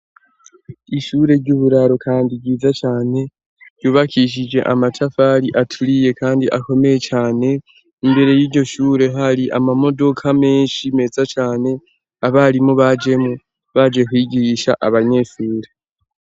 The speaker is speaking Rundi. Ishure ry'uburaro kandi ryiza cane ryubakishije amatafari aturiye kandi akomeye cane. Imbere y'iryo shure hari amamodoka menshi meza cane abarimu bajemwo baje kwigisha abanyesure.